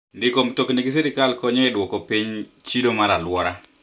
Ndiko mtokni gi sirkal konyo e dwoko piny chido mar alwora.